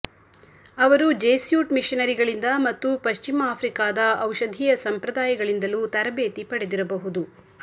ಅವರು ಜೆಸ್ಯೂಟ್ ಮಿಷನರಿಗಳಿಂದ ಮತ್ತು ಪಶ್ಚಿಮ ಆಫ್ರಿಕಾದ ಔಷಧೀಯ ಸಂಪ್ರದಾಯಗಳಿಂದಲೂ ತರಬೇತಿ ಪಡೆದಿರಬಹುದು